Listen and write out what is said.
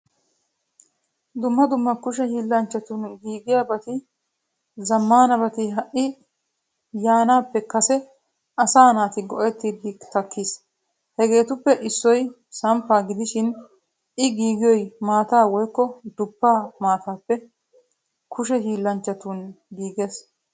Dumma dumma kushshe hillanchchatun giigiyabati zamaanabati ha'i yaanappe kase asa naata go'idi takkiis. Hegetuppe issoy samppa gidishin i giigiyoy maataa woykko duppa maataappe kushshee hillanchchatun giigees.